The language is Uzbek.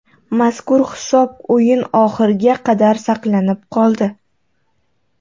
Mazkur hisob o‘yin oxiriga qadar saqlanib qoldi.